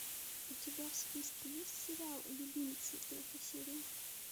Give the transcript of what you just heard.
у тебя в списке есть сериал любимцы третья серия